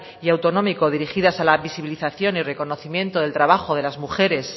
y autonómico dirigidas a la visibilización y reconocimiento del trabajo de las mujeres